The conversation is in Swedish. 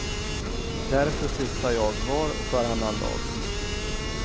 Därför flyttar jag var och varannan dag.